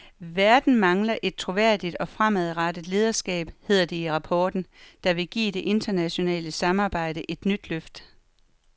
Verden mangler et troværdigt og fremadrettet lederskab, hedder det i rapporten, der vil give det internationale samarbejde et nyt løft.